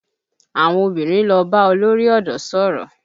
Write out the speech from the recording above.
Àwọn obìnrin lọ bá olórí ọ̀dọ́ sọ̀rọ̀